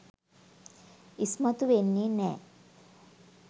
ඉස්මතු වෙන්නේ නෑ.